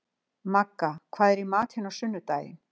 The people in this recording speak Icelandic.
Magga, hvað er í matinn á sunnudaginn?